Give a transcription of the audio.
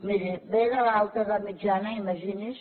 miri ve de l’alta edat mitjana imagini’s